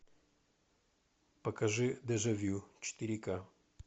покажи дежавю четыре ка